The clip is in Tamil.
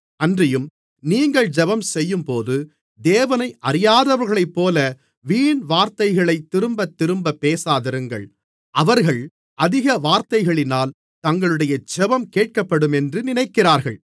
அன்றியும் நீங்கள் ஜெபம்செய்யும்போது தேவனை அறியாதவர்களைப்போல வீண்வார்த்தைகளைத் திரும்பத்திரும்ப பேசாதிருங்கள் அவர்கள் அதிக வார்த்தைகளினால் தங்களுடைய ஜெபம் கேட்கப்படுமென்று நினைக்கிறார்கள்